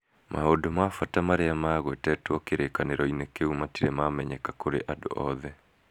Maũndũ ma bata marĩa magwetetwo kĩrĩkanĩro-inĩ kĩu matirĩ mamenyeka kũrĩ andũ othe.